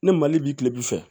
Ni mali bi kilebi fɛ